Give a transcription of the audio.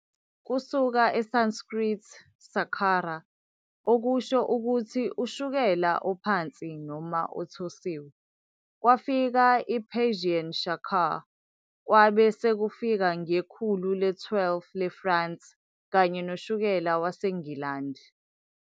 Kusuka eSanskrit, śarkarā, okusho ukuthi"ushukela ophansi noma othosiwe", kwafika i-Persian shakar, kwabesekufika ngekhulu le-12 leFrance kanye noshukela waseNgilandi.